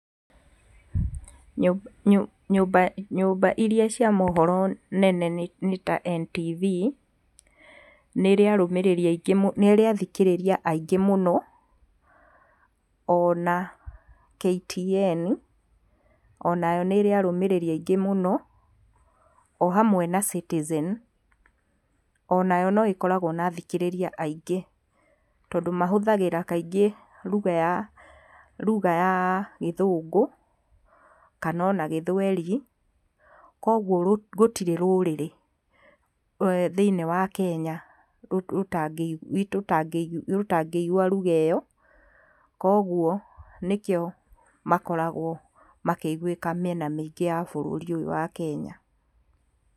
Nyũmba, nyũmba iria cia mohoro nene nĩ, nĩta Ntv, nĩrĩ arũmĩrĩri aingĩ, nĩrĩ athikĩrĩria aingĩ mũno, ona Ktn onayo nĩrĩ arũmĩrĩri aingĩ mũno, o hamwe na Citizen onayo no ĩkoragwo na athikĩrĩria aingĩ, tondũ mahũthagĩra kaingĩ ruga ya, ruga ya gĩthũngũ kanona gĩthweri, kogwo gũtirĩ rũrĩrĩ thĩiniĩ wa Kenya , rũtangĩigua ruga ĩyo, koguo nĩkĩo makoragwo makĩiguĩka mĩena mĩingĩ ya bũrũri ũyũ wa Kenya.